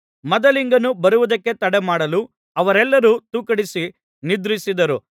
ಮದಲಿಂಗನು ಬರುವುದಕ್ಕೆ ತಡಮಾಡಲು ಅವರೆಲ್ಲರೂ ತೂಕಡಿಸಿ ನಿದ್ರಿಸಿದರು